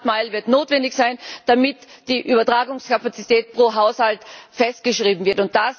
Die last mile wird notwendig sein, damit die Übertragungskapazität pro Haushalt festgeschrieben wird.